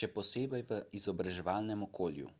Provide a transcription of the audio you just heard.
še posebej v izobraževalnem okolju